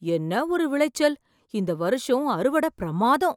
என்ன ஒரு விளைச்சல், இந்த வருஷம் அறுவடை பிரமாதம்!